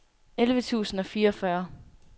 elleve tusind og fireogfyrre